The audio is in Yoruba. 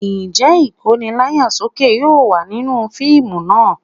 Ǹjẹ́ Ìkóni láyà sókè yóò wà nínú fíìmù náà?